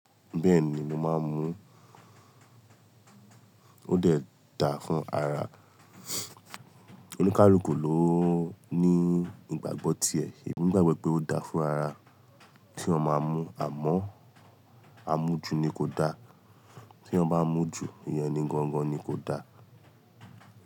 Bẹ́ẹ̀ni, mo máa ń mu. Ó dẹ̀ dà fún ara. Òníkálùkù ló ní ìgbàgbọ́ tí ẹ̀ emi gbàgbọ́ pé ó dà fún ara. Tí ọ máa mú à mọ́, a mú ju ni kò dà. Tí eeyan bá mú ju, ìyen ni gangan ni kò dà.